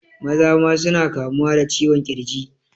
Maza ma suna kamuwa da ciwon ƙirji